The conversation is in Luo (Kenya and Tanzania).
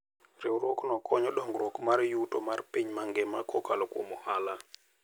Riwruogno konyo dongruok mar yuto mar piny mangima kokalo kuom ohala.